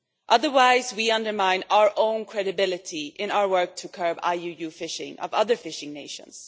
Otherwise we undermine our own credibility in our work to curb the IUU fishing of other fishing nations.